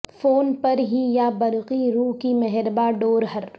phone پر ہی یا برقی رو کی مہرباں ڈور ہر